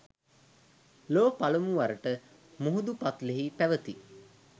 ලොව පළමුවරට මුහුදු පත්ලෙහි පැවැති